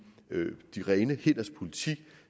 de rene hænders politik